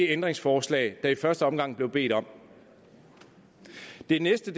ændringsforslag der i første omgang blev bedt om det næste